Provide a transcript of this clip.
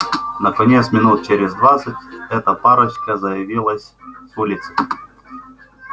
наконец минут через двадцать эта парочка заявилась с улицы